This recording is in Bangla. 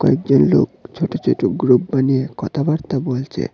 কয়েকজন লোক ছোট ছোট গ্রুপ বানিয়ে কথাবার্তা বলছে।